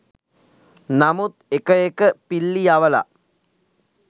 නමුත් එක එක පිල්ලි යවල